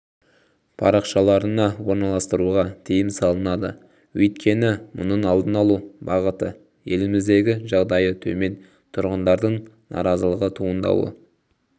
парақшаларына орналастыруға тыйым салынады өйткені мұның алдын алу бағыты еліміздегі жағдайы төмен тұрғындардың наразылығы туындауы